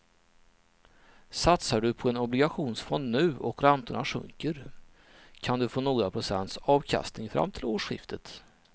Satsar du på en obligationsfond nu och räntorna sjunker kan du få några procents avkastning fram till årsskiftet.